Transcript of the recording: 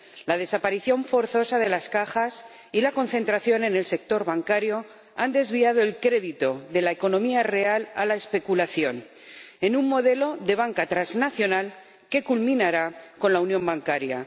la desaparición forzosa de las Cajas y la concentración en el sector bancario han desviado el crédito de la economía real a la especulación, en un modelo de banca transnacional que culminará con la unión bancaria.